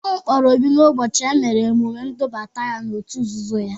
A wakporo Obi n'ụbọchị e mere emume ndubata n'òtù nzuzo ya.